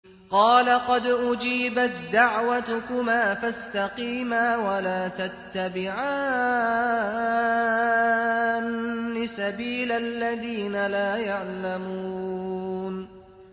قَالَ قَدْ أُجِيبَت دَّعْوَتُكُمَا فَاسْتَقِيمَا وَلَا تَتَّبِعَانِّ سَبِيلَ الَّذِينَ لَا يَعْلَمُونَ